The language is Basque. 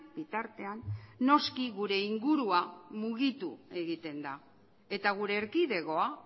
bitartean noski gure ingurua mugitu egiten da eta gure erkidegoa